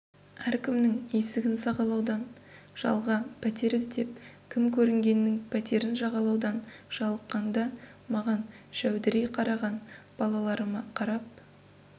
әркімнің есігін сағалаудан жалға пәтер іздеп кім көрінгеннің пәтерін жағалаудан жалыққанда маған жәудірей қараған балаларыма қарап